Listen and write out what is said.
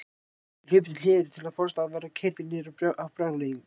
Þeir hlupu til hliðar til að forðast að verða keyrðir niður af brjálæðingnum.